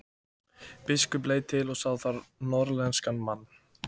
Biskup leit til og sá þar norðlenskan mann.